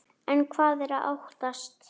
En hvað er að óttast?